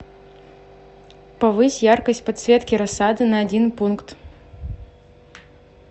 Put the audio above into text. повысь яркость подсветки рассады на один пункт